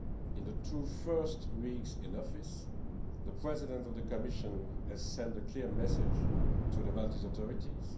In the two first weeks in office, the President of the Commission has sent a clear message to the Maltese authorities.